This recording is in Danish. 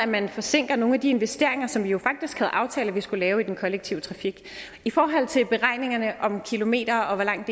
man forsinker nogle af de investeringer som vi jo faktisk havde aftalt vi skulle lave i den kollektive trafik i forhold til beregningerne om kilometer og hvor langt